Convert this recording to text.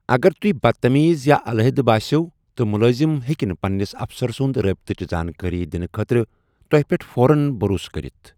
اگر تُہۍ بدتمیز یا علیحدٕ بٲسِو تہٕ مُلٲزِم ہیٚکہِ نہٕ پننِس اَفسَر سنٛد رٲبطٕچ زانٛکٲری دِنہٕ خٲطرٕ تۄہہِ پٮ۪ٹھ فوراً بھروسہٕ کٔرتھ۔